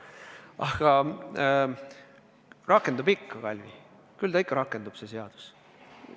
Aga rakendub ikka, Kalvi, küll ta ikka rakendub, see seadus.